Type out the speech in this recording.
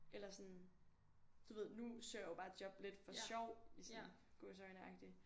Eller sådan du ved nu søger jeg jo bare job lidt for sjov sådan i gåseøjne agtigt